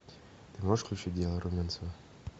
ты можешь включить дело румянцева